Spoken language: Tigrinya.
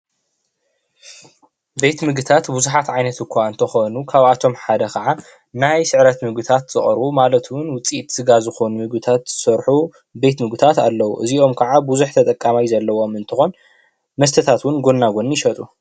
ቤት ምግብታት ብዙሓት ዓይነት እኳ እንተኮኑ ካብ ኣቶም ሓደ ከኣ ናይ ስዕረት ምግብታት ዝቀርቡ ማለት እዉን ውፅኢት ስጋ ዝኮኑ ምግብታት ዝሰርሑ ቤት ምግብታት ኣለዉ:: እዚኦም ከኣ በዙሕ ተጠቃማይ ዘለዎ እንትኮን መስተታት እዉን ጎናጎኒ ይሸጡ::